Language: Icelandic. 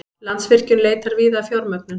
Landsvirkjun leitar víða að fjármögnun